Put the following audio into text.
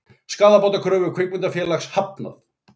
Skaðabótakröfu kvikmyndafélags hafnað